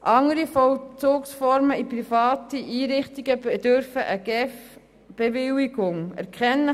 Andere Vollzugsformen in privaten Einrichtungen bedürfen einer Bewilligung durch die GEF.